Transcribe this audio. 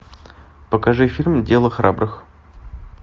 покажи фильм дело храбрых